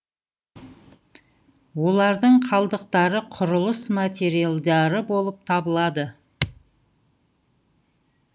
олардың қалдықтары құрылыс материалдары болып табылады